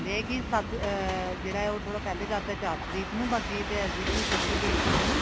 ਇਹ ਹੈ ਕੀ ਸੱਤ ਅਮ ਜਿਹੜਾ ਹੈ ਉਹ ਥੋੜਾ ਪਹਿਲੇ ਕਰਤਾ ਚਾਰ ਤਰੀਕ ਨੂੰ ਬਾਕੀ ਤੇ as a ties ਰਹੇਗੀ date sheet ਹਨਾ